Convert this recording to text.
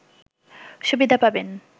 সুবিধা পাবেন